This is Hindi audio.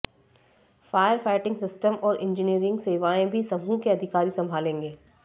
फायर फाइटिंग सिस्टम और इंजीनियरिंग सेवाएं भी समूह के अधिकारी संभालेंगे